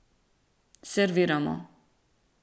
Serviramo.